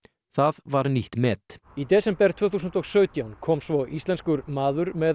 það var nýtt met í desember tvö þúsund og sautján kom svo íslenskur maður með